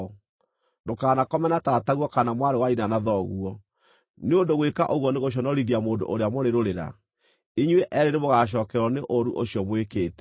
“ ‘Ndũkanakome na tataguo kana mwarĩ wa nyina na thoguo, nĩ ũndũ gwĩka ũguo nĩ gũconorithia mũndũ ũrĩa mũrĩ rũrĩra; inyuĩ eerĩ nĩmũgacookererwo nĩ ũũru ũcio mwĩkĩte.